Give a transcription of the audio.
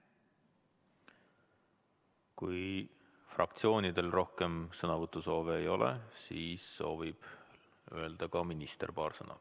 Kui fraktsioonidel rohkem sõnavõtusoove ei ole, siis soovib minister öelda paar sõna.